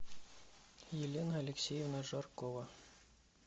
елена алексеевна жаркова